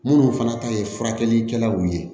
Minnu fana ta ye furakɛlikɛlaw ye